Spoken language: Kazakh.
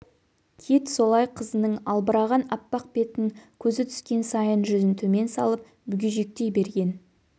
кит солай қызының албыраған аппақ бетін көзі түскен сайын жүзін төмен салып бүгежектей берген